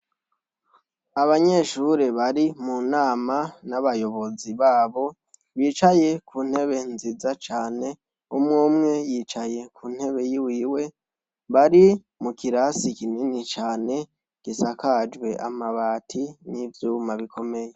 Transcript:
Ababyeyi bari munama nabayobozi babo , bicaye kuntebe nziza cane umwe umwe yicaye kuntebe yiwiwe bari mukirasi kinini cane gisakajwe amabati nivyuma bikomeye.